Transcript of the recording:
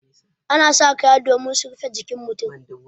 Ana saka kaya domin su rufe jikin mu.